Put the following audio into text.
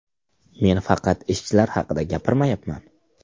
Men faqat ishchilar haqida gapirmayapman.